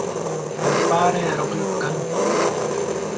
þegar barið er á gluggann.